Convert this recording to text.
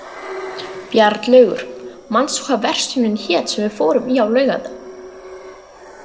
Bjarnlaugur, manstu hvað verslunin hét sem við fórum í á laugardaginn?